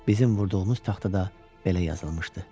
Bizim vurduğumuz taxtada belə yazılmışdı: